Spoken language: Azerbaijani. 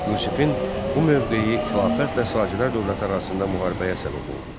Yusifin bu mövqeyi xilafətlə Sacilər dövləti arasında müharibəyə səbəb oldu.